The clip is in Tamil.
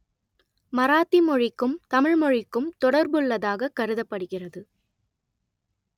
மராத்தி மொழிக்கும் தமிழ் மொழிக்கும் தொடர்புள்ளதாக கருதப்படுகிறது